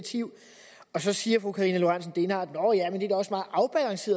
der så siger fru karina lorentzen dehnhardt